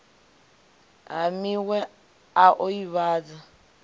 ha miwe a o ivhadza